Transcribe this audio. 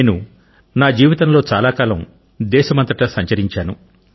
నేను నా జీవితంలో చాలా కాలం దేశమంతటా సంచరించాను